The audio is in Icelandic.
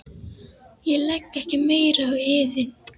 Ég legg ekki meira á yður.